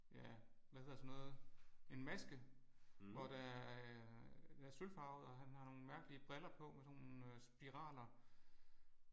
Ja hvad hedder sådan noget en maske. Hvor der er der er sølvfarvet og han har nogle mærkelige briller på med sådan nogle spiraler